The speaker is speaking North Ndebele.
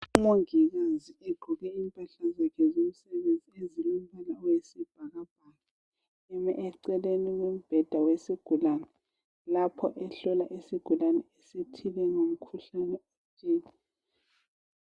Umongikazi egqoke impahla zakhe zomsebenzi ezilombala oyisibhakabhaka, eme eceleni kombheda wesigulane, lapho ehlola isigulane esithile ngomkhuhlane othile.